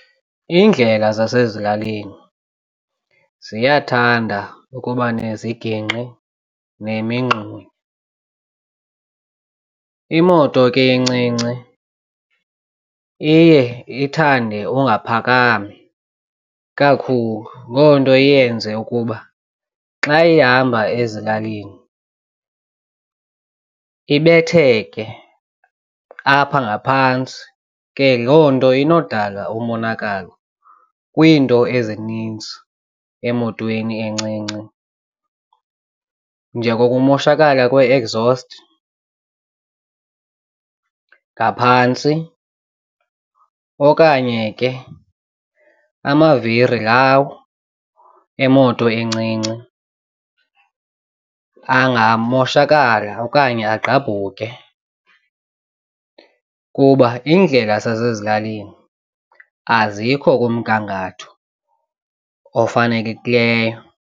Iindlela zasezilalini ziyathanda ukuba nezigingqi nemingxunya. Imoto ke incinci iye ithande ungaphakami kakhulu loo nto iyenze ukuba xa ihamba ezilalini ibetheke apha ngaphantsi ke loo nto inodala umonakalo kwiinto ezininzi emotweni encinci. Njengokumoshakala kwe-exhaust ngaphantsi okanye ke amaviri lawo emoto encinci angamoshakala okanye agqabhuke kuba iindlela zasezilalini azikho kumgangatho ofanelekileyo.